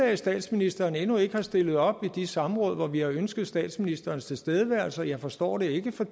at statsministeren endnu ikke er stillet op i de samråd hvor vi har ønsket statsministerens tilstedeværelse jeg forstår det ikke for